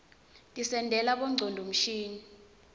tisentela bongcondvo mshini